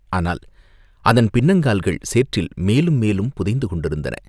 ஆனால் அதன் பின்னங்கால்கள் சேற்றில் மேலும் மேலும் புதைந்து கொண்டிருந்தன.